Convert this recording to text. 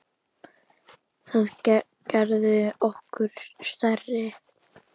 Það gerði okkur stærri.